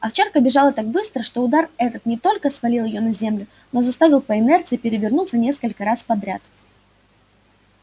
овчарка бежала так быстро что удар этот не только свалил её на землю но заставил по инерции перевернуться несколько раз подряд